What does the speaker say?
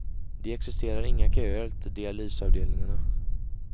Det existerar inga köer till dialysavdelningarna.